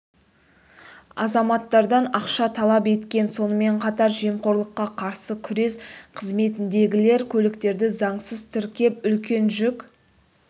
азаматтардан ақша талап еткен сонымен қатар жемқорлыққа қарсы күрес қызметіндегілер көліктерді заңсыз тіркеп үлкен жүк